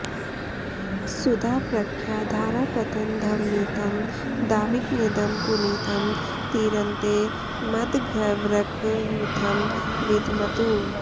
सुधा प्रख्या धारापतनध्वनितं दाविकमिदं पुनीतं तीरन्ते मदघवृकयूथं विधमतु